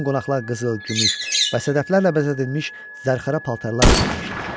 Bütün qonaqlar qızıl, gümüş və sədəflərlə bəzədilmiş zərxərə paltarlar geyinmişdilər.